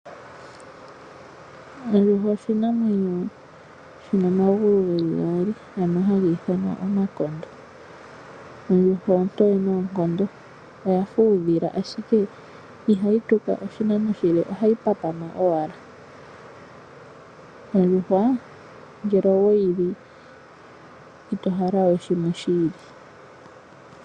Ondjuhwa oshinamwenyo shono shina omagulu geli gaali shono hashi ithanwa omakondo. Ondjuhwa ontoye omanyaga oya fa uudhila, ashike ihaye tuka oshinano oshili ohayi papama owala. Ondjuhwa ngele owe yi li e to hala we oshinima shiili.